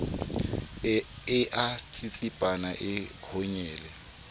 e a tsitsipana e honyele